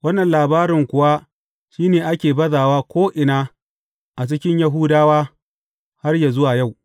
Wannan labarin kuwa shi ne ake bazawa ko’ina a cikin Yahudawa, har yă zuwa yau.